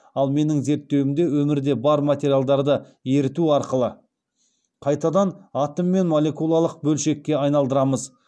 ал менің зерттеуімде өмірде бар материалдарды еріту арқылы қайтадан атом мен малекулалық бөлшекке айналдырамыз